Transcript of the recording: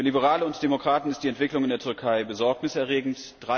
Für Liberale und Demokraten ist die Entwicklung in der Türkei besorgniserregend.